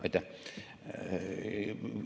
Aitäh!